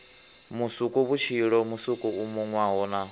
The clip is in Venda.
musukuvhutshilo musuku u munwaho na